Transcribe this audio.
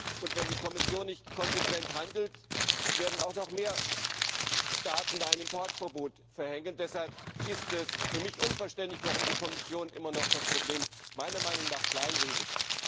Und wenn die Kommission nicht konsequent handelt, werden auch noch mehr Staaten ein Importverbot verhängen. Deshalb ist es für mich unverständlich, warum die Kommission das Problem meiner Meinung nach immer noch kleinredet.